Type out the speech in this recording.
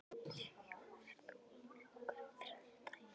Sigjón, ferð þú með okkur á þriðjudaginn?